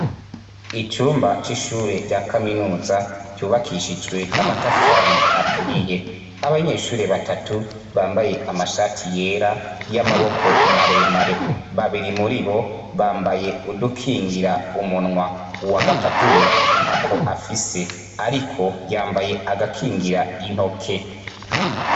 Icumba c'ishure rya kaminuza ryubakishijwe amatafari aturiye ,abanyeshure batatu bambaye amashati yera, y'amaboko maremare ,babiri muribo bambaye udukingira umunwa, uwagatatu we ntako afise ariko yambaye agakira intoke.